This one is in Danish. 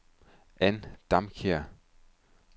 Ann Damkjær